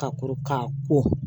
Ka kɔrɔ ka ko